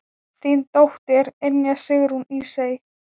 Þín dóttir, Ynja Sigrún Ísey.